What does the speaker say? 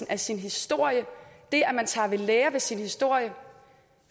af sin historie det at man tager ved lære af sin historie